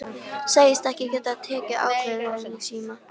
Segist ekki geta tekið ákvörðun í síma.